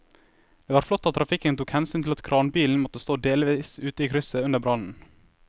Det var flott at trafikken tok hensyn til at kranbilen måtte stå delvis ute i krysset under brannen.